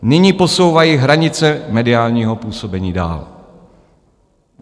Nyní posouvají hranice mediálního působení dál.